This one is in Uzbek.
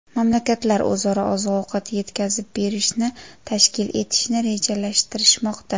Mamlakatlar o‘zaro oziq-ovqat yetkazib berishni tashkil etishni rejalashtirishmoqda.